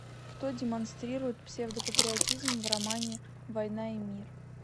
кто демонстрирует псевдопатриотизм в романе война и мир